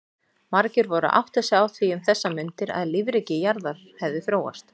Margir voru að átta sig á því um þessar mundir að lífríki jarðar hefði þróast.